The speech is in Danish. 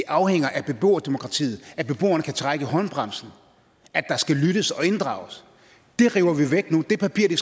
afhænger af beboerdemokratiet af at beboerne kan trække i håndbremsen af at der skal lyttes og inddrages det river vi væk nu det papir det